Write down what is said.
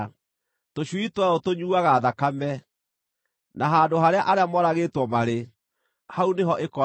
Tũcui twayo tũnyuuaga thakame, na handũ harĩa arĩa moragĩtwo marĩ, hau nĩ ho ĩkoragwo.”